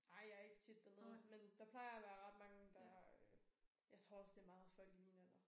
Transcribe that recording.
Ej jeg er ikke tit dernede men der plejer at være ret mange der øh jeg tror også det meget folk i min alder